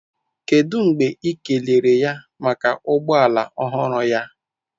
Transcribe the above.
Kedu mgbe ị kelere ya maka ụgbọ ala ọhụrụ ya?